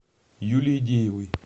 юлии деевой